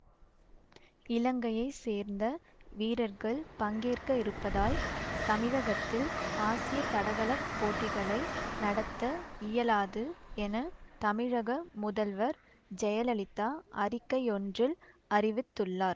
இலங்கையை சேர்ந்த வீரர்கள் பங்கேற்க இருப்பதால் தமிழகத்தில் ஆசிய தடகள போட்டிகளை நடத்த இயலாது என தமிழக முதல்வர் ஜெயலலிதா அறிக்கையொன்றில் அறிவித்துள்ளார்